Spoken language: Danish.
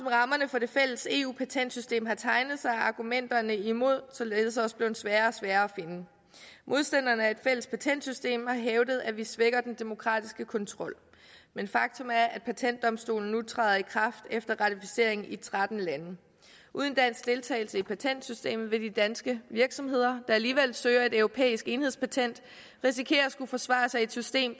for det fælles eu patentsystem har tegnet sig er argumenterne imod således også blevet sværere og sværere at finde modstanderne af et fælles patentsystem har hævdet at vi svækker den demokratiske kontrol men faktum er at patentdomstolen nu træder i kraft efter ratificering i tretten lande uden dansk deltagelse i patentsystemet vil de danske virksomheder der alligevel søger et europæisk enhedspatent risikere at skulle forsvare sig i et system